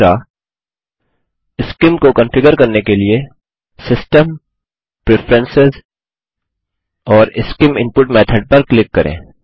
तीसरा सीआईएम को कंफिगर करने के लिए सिस्टम प्रेफरेंस और सीआईएम इनपुट मेथोड पर क्लिक करें